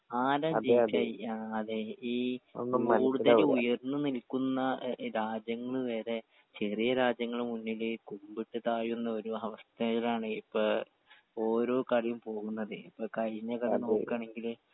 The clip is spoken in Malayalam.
ആരാ ഇത് ചെയ്യാ അതെ ഈ കൂടുതൽ ഉയർന്ന് നിൽക്കുന്ന ഏഹ് രാജ്യങ്ങൾ വരെ ചെറിയ രാജ്യങ്ങൾ മുന്നിൽ കുബിട്ട് താഴുന്നൊരു അവസ്ഥേലാണ് ഇപ്പൊ ഓരോ കളിയും പോവുന്നതേ ഇപ്പൊ കഴിഞ്ഞ കളി നോക്കാണെങ്കിൽ